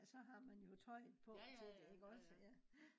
så har man jo tøjet på til det iggås ja